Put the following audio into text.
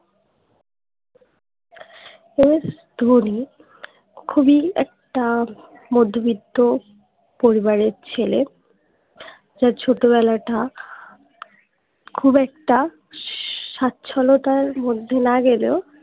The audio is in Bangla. MS ধোনি খুবই একটা মধ্যবিত্ত পরিবারের ছেলে তার ছোটবেলাটা খুব একটা স্বচ্ছলতার মধ্যে না গেলেও